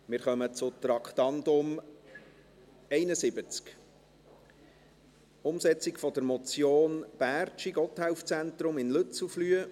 Wir kommen zum Traktandum 71, Umsetzung der Motion Bärtschi, Gotthelf-Zentrum in Lützelflüh.